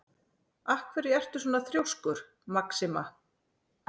Af hverju ertu svona þrjóskur, Maxima?